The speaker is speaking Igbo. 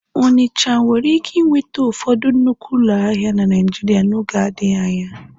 Ọnịcha nwere ike nweta ụfọdụ nnukwu ụlọ ahịa na Naịjirịa n'oge adịghị anya.